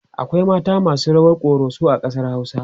akwai mata masu rawar koroso a ƙasar hausa